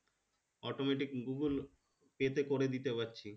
automatic google pay তে করে দিতে পারছি